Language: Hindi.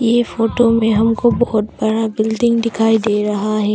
ये फोटो में हमको बहुत बड़ा बिल्डिंग दिखाई दे रहा है।